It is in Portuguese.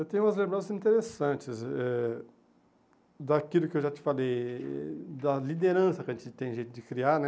Eu tenho umas lembranças interessantes eh daquilo que eu já te falei, da liderança que a gente tem jeito de criar né.